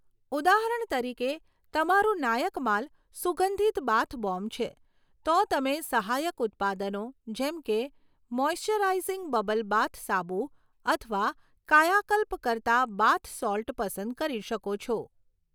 ઉદાહરણ તરીકે, તમારું નાયક માલ સુગંધિત બાથ બોમ્બ છે, તો તમે સહાયક ઉત્પાદનો જેમ કે મૉઇસ્ચરાઈઝિંગ બબલ બાથ સાબુ અથવા કાયાકલ્પ કરતા બાથ સૉલ્ટ પસંદ કરી શકો છો.